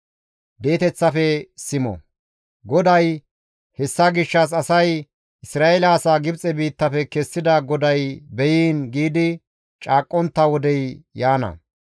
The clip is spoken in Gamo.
GODAY, «Hessa gishshas asay, ‹Isra7eele asaa Gibxe biittafe kessida GODAY beyiin› giidi caaqqontta wodey yaana.